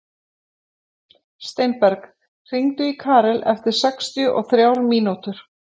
Steinberg, hringdu í Karel eftir sextíu og þrjár mínútur.